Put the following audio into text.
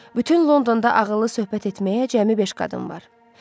Bütün Londonda ağıllı söhbət etməyə cəmi beş qadın var.